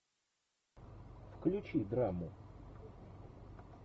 включи драму